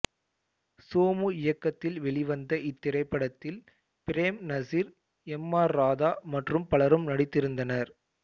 சோமு இயக்கத்தில் வெளிவந்த இத்திரைப்படத்தில் பிரேம்நசீர் எம் ஆர் ராதா மற்றும் பலரும் நடித்திருந்தனர்